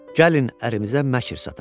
Gəlin ərimizə məkər sataq.